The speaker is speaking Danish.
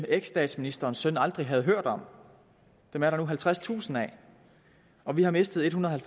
eksstatsministerens søn aldrig havde hørt om er der nu halvtredstusind af og vi har mistet ethundrede